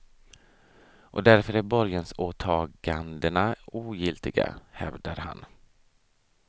Och därför är borgensåtagandena ogiltiga, hävdar han.